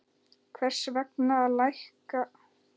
Hvers vegna lækkar myntráð vexti?